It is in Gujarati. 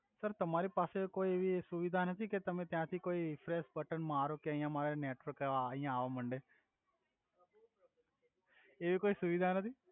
સર તમારી પાસે એવિ કોઇ સુવિધા નથી કે તમે ત્યાથી કોઇ એ રીફ્રેસ બટન મારો અયા મારે નેટવર્ક અવા આવા માંડે એવી કોઇ સુવિધા નથી